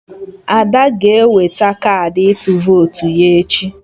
Ada ga-eweta kaadị ịtụ votu ya echi